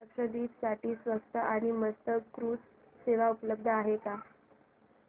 लक्षद्वीप साठी स्वस्त आणि मस्त क्रुझ सेवा उपलब्ध आहे का